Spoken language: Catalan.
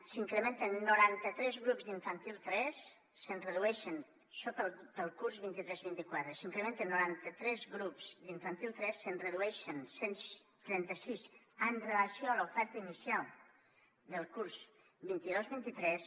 s’incrementen noranta tres grups d’infantil tres això per al curs vint tres vint quatre s’incrementen noranta tres grups d’infantil tres se’n redueixen cent i trenta sis amb relació a l’oferta inicial del curs vint dos vint tres